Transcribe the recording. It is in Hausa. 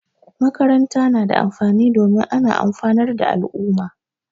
Makaranta na da amfani domin ana amfanar da al'umma